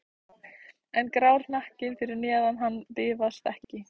En grár hnakkinn fyrir neðan hann bifast ekki.